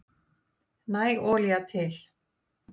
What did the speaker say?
Næg olía til